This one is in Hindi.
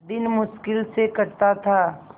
दिन मुश्किल से कटता था